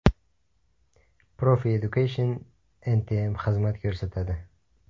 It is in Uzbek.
Profi Education NTM xizmat ko‘rsatadi.